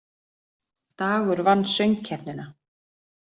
Dagur vann Söngkeppnina